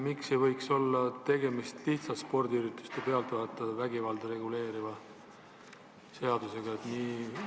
Miks ei võiks pealkiri olla lihtsalt spordiürituste pealtvaatajate vägivalda käsitleva konventsiooni denonsseerimine?